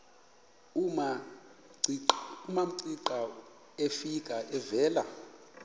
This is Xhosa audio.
umamcira efika evela